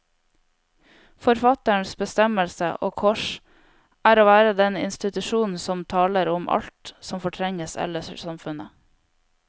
Forfatterens bestemmelse, og kors, er å være den institusjon som taler om alt som fortrenges ellers i samfunnet.